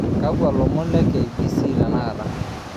Kakua ilomon le KCB tenakata